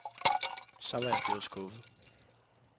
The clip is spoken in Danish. Så var jeg blevet skuffet.